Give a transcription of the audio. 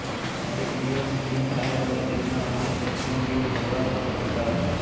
એક દિવસ ખીમ સાહેબ અને તેમના અન્ય સત્સંગીઓ સૌરાષ્ટ્રમાં જતા હતાં